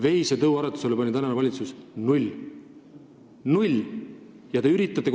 Veisetõuaretusele on tänane valitsus andnud null eurot.